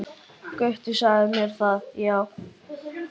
Gutti sagði mér það, já.